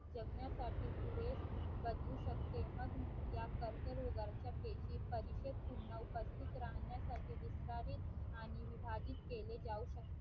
जगण्यासाठी पुढे बदलू शकते मग ज्या कर्करोगाच्या पैकी पुन्हा उपस्थित राहण्यासाठी विस्तारित आणि विभाजित केले जाऊ शकते.